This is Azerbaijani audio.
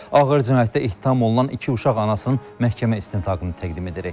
Ağır cinayətdə ittiham olunan iki uşaq anasının məhkəmə istintaqını təqdim edirik.